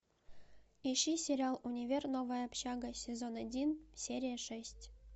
ищи сериал универ новая общага сезон один серия шесть